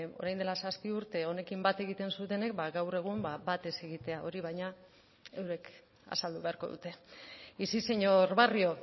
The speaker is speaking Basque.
orain dela zazpi urte honekin bat egiten zutenek gaur egun bat ez egitea hori baina eurek azaldu beharko dute y sí señor barrio